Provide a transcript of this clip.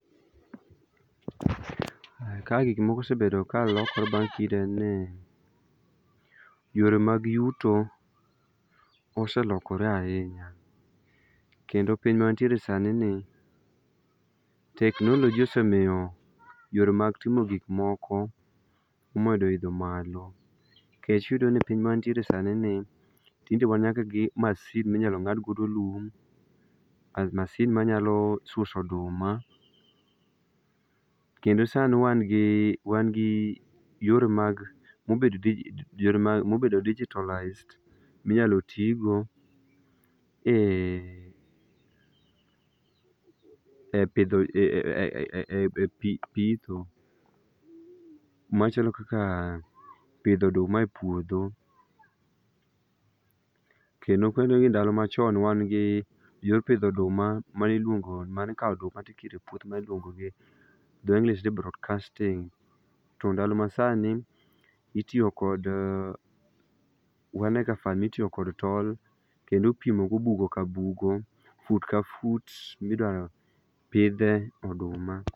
Ka gik moko osebedo ka lokore bang' kinde. Yore mag yuto oselokore ahinya kendo piny mawantie sani ni teknoloji osemiyo yore mag timo gik moko omedo idho malo. Nikech ineno ni piny ma wantiere sani ni tinde wan nyaka gi masin minyal ngad goo lum, masin manyalo suso oduma kendo sani wan gi, wan gi yore mag, mobedo digitalised minyalo tii go e ,e pidho,e pitho machalo kaka pidho oduma e puodho. Kendo kwadoge ndalo machon wan gi yor pidho oduma mane iluongo, mane ikao oduma tikuoro e puodho mane iluongo ni drainage broadcasting to ndalo masani itiyo kod, mitiyo kod tol kendo ipimo go bugo ka bugo, fut ka fut midwa pidhe oduma